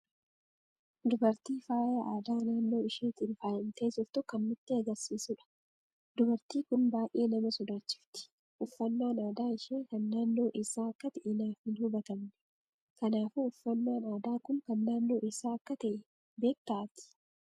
Dubartii faayaa aadaa naannoo isheetiin faayamtee jirtu kan nutti agarsiisuudha. dubartii kun baay'ee nama sodaachifti. uffaanan aadaa ishee kan naannoo eessa akka tahe naaf hin hubatamne. Kanaafuu uffannan aadaa kun kan naannoo eessa akka ta'e beekta ati?